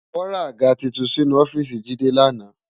Wò ràgá tútún sinú òfìsí Jide làná